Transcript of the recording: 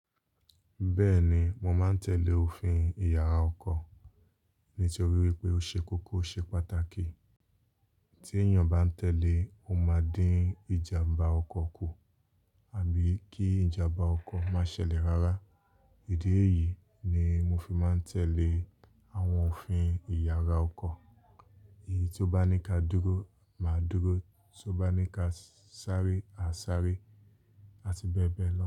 Bẹ́ẹ̀ni, mo máa ń tẹ̀lé òfin ìyàrá ọkọ̀ nítorí wípé ó ṣe kókó o ṣe pàtàkì. Tí èèyàn bá ń tẹ̀lé, ó máa dín ìjàmbá ọkọ̀ kù àbí kí ìjàmbá ọkọ̀ má ṣẹlẹ̀ rárá. Èdè yìí ni mo fi máa ń tẹ̀lé àwọn òfin ìyàrá ọkọ̀. Èyí tí ó bá ní ká dúró, máa dúró, tí ó bá ní ká sáré, á sáré àti bẹ́ẹ̀ bẹ́ẹ̀ lọ.